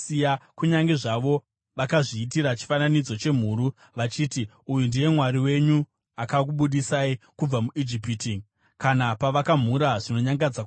kunyange zvavo vakazviitira chifananidzo chemhuru vachiti, ‘Uyu ndiye mwari wenyu, akakubudisai kubva muIjipiti,’ kana pavakamhura zvinonyangadza kwazvo.